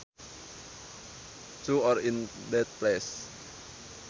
To or in that place